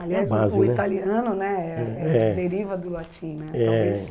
é a base né. Aliás, o italiano né é é deriva do latim né, talvez...